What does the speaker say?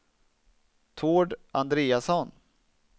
Tord Andreasson